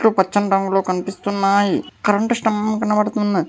పచ్చని రంగులో కనిపిస్తున్నాయి కరెంటు స్తంభం కనబడుతున్న--